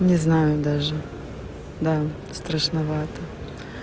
не знаю даже да страшновато